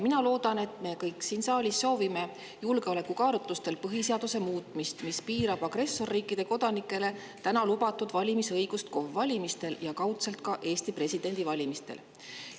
Ma loodan, et me kõik siin saalis soovime julgeolekukaalutlustel põhiseaduse muutmist, et piirata agressorriikide kodanike valimisõigust KOV‑valimistel ja kaudselt ka Eesti presidendi valimistel.